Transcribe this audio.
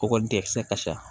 Kɔkɔli de kisɛ ka ca